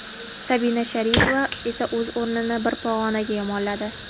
Sabina Sharipova esa o‘z o‘rnini bir pog‘onaga yomonladi.